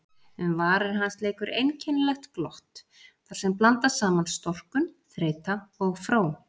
Um varir hans leikur einkennilegt glott þarsem blandast saman storkun, þreyta og fró.